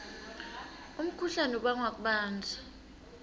umkhuhlane ubangwa kubandza